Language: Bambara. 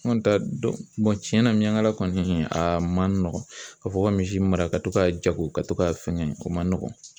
N kɔni t'a dɔn tiɲɛna miyangala kɔni a man nɔgɔn ka fɔ ko ka misi mara ka to ka jago ka to ka fɛnkɛ o man nɔgɔn.